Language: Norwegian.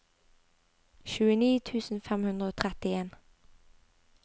tjueni tusen fem hundre og trettien